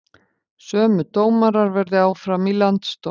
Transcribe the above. Sömu dómarar verði áfram í landsdómi